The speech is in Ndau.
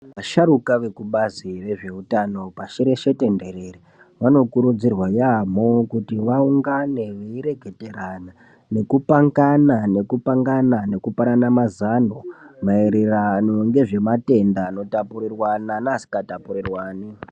Vasharuka vekubazi rezveutano pashi reshe tenderere vanokurudzirwa yamho kuti vaungane veireketerana nekupangana nekupangana nekupanana mazano mairirano nezvematenda anotapurirwana neasinga tapurirwani